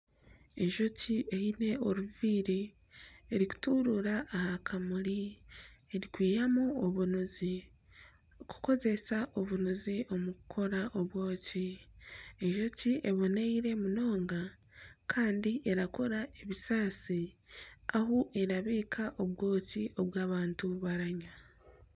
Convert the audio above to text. Enjoki eine oruviiri erikuturuura aha kamuri erikwihamu obunuzi kukozesa obunuzi kukoramu obwoki. Enjoki eboneire munonga, kandi erakora ebisaasi ahu erabiika obwoki obu abantu bararya.